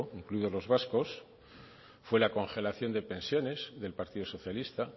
incluidos los vascos fue la congelación de pensiones del partido socialista